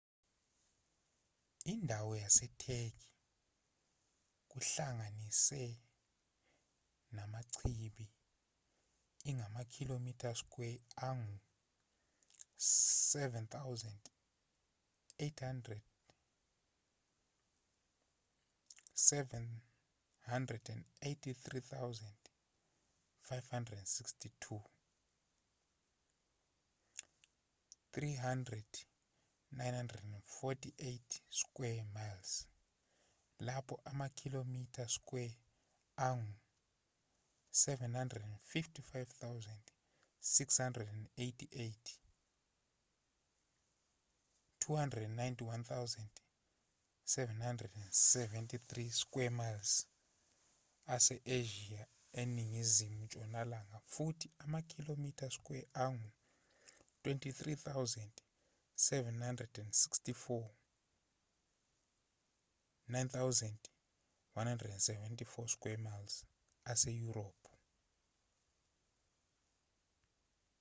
indawo yasetheki kuhlanganise namachibi ingamakhilomitha skwele angu-783,562 300,948 sq mi lapho amakhilomitha skwele angu-755,688 291,773 sq mi ase-asia eseningizimu ntshonalanga futhi amakhilomitha skwele angu-23,764 9,174 sq mi aseyurophu